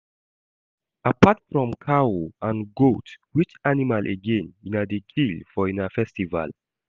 Apart from cow and goat which animal again una dey kill for una festival